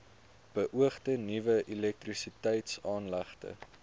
beoogde nuwe elektrisiteitsaanlegte